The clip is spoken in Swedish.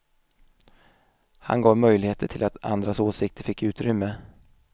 Han gav möjligheter till att andras åsikter fick utrymme.